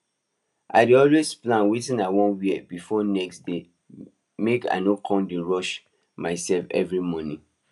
i dey always plan wetin i won wear b4 next day make i no con dey rush myself every morning